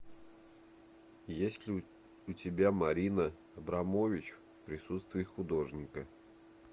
есть ли у тебя марина абрамович в присутствии художника